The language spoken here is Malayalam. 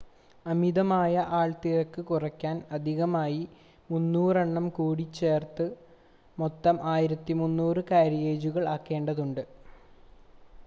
അമിതമായ ആൾത്തിരക്ക് കുറയ്ക്കാൻ അധികമായി 300 എണ്ണം കൂടി ചേർത്ത് മൊത്തം 1,300 കാരിയേജുകൾ ആക്കേണ്ടതുണ്ട്